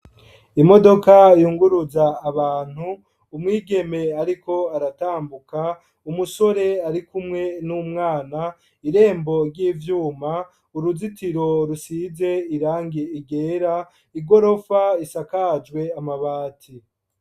Imodoka, yunguruza abantu, umwigeme ariko aratambuka, umusore, ari kumwe n'umwana, irembo ry'ivyuma, uruzitiro rusize irangi ryera, igorofa isakajwe amabati.